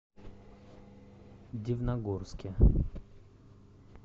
дивногорске